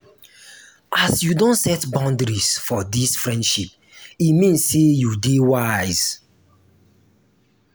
as you don set boudaries for dis friendship e mean sey you dey wise.